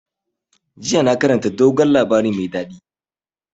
Yesterday i read sweet tall tales.